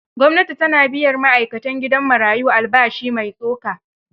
Gwamnati ta na biyan ma'aikatan gidan marayo albashi mai tsoka.